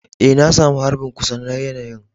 Eh, na samu harbin kusa na yanayi'n.